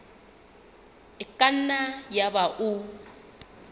e ka nna yaba o